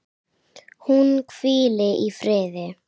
Hún hvíli í friði.